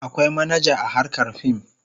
Akwai manaja a harkar fim.